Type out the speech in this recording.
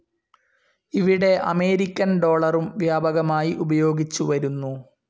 ഇവിടെ അമേരിക്കൻ ഡോളറും വ്യാപകമായി ഉപയോഗിച്ചുവരുന്നു.